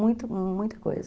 Muita, muita coisa.